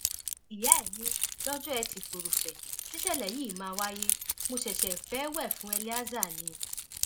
ìyá ẹ ní lọjọ etí furuufee tíṣẹlẹ yìí máa wáyé mo ṣẹṣẹ fẹẹ wẹ fún eleazar ni